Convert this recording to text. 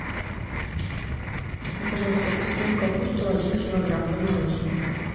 мне пожалуйста цветную капусту один килограмм замороженную